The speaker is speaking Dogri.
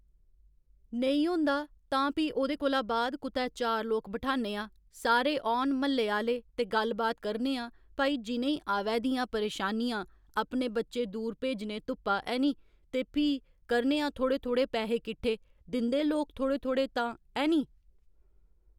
नेईं होंदा तां भी ओह्दे कोला बाद कुतै चार लोक बठाह्न्ने आं सारे औन म्हल्ले आह्‌ले ते गल्ल बात करने आं भई जि'नें ई आवै दियां परेशानियां अपने बच्चे दूर भेजने धुप्पा ऐह्‌नी ते फ्ही करने आं थोह्ड़े थोह्ड़े पैहे किट्ठे दिंदे लोक थोह्ड़े थोह्ड़े तां ऐह्‌नी